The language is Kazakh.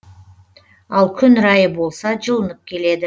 ал күн райы болса жылынып келеді